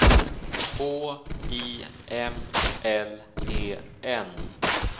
H I M L E N